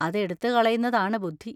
അതെടുത്തു കളയുന്നതാണ് ബുദ്ധി.